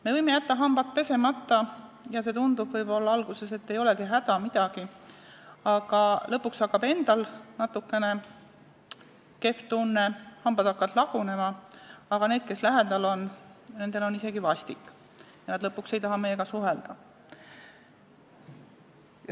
Me võime jätta hambad pesemata ja võib-olla alguses tundub, et ei olegi häda midagi, aga lõpuks hakkab endal natukene kehv tunne, hambad hakkavad lagunema, aga nendel, kes lähedal on, on isegi vastik ja lõpuks nad ei taha enam meiega suhelda.